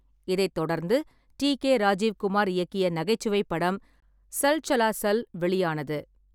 இதைத் தொடர்ந்து T. K. Rajiv Kumar இயக்கிய நகைச்சுவை படம் 'சல் சலா சல்' வெளியானது.